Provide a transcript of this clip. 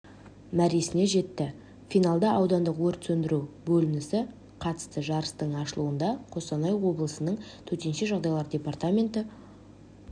мәресіне жетті финалда аудандық өрт сөндіру бөлінісі қатысты жарыстың ашылуында қостанай облысының төтенше жағдайлар департаменті